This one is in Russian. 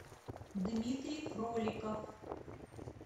дмитрий фроликов